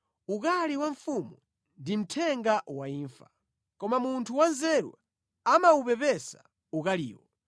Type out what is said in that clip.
Ukali wa mfumu ndi mthenga wa imfa, koma munthu wanzeru amawupepesa ukaliwo.